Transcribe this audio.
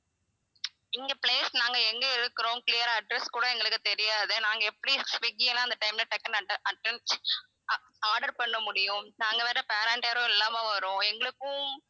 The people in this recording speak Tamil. இங்க place நாங்க எங்க இருக்கிறோம் clear ஆ address கூட எங்களுக்கு தெரியாது நாங்க எப்படி ஸ்விக்கி எல்லாம் அந்த time ல டக்குன்னு atten~ atten~ o~ order பண்ண முடியும் நாங்க வேற parent யாரும் இல்லாம வறோம் எங்களுக்கும்